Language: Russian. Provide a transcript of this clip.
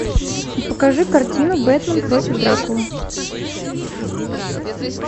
покажи картину бэтмен против дракулы